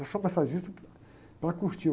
Eu sou massagista para curtir.